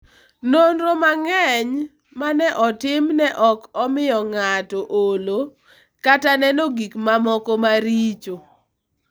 Nonro mang'eny ma ne otim ne ok omiyo ng'ato olo kata neno gik mamoko maricho.